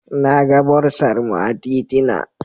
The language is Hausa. Na ga bursar mu a titina.